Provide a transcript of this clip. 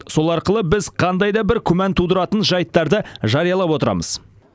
сол арқылы біз қандай да бір күмән тудыратын жайттарды жариялап отырамыз